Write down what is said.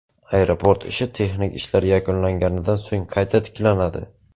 Aeroport ishi texnik ishlar yakunlanganidan so‘ng qayta tiklanadi.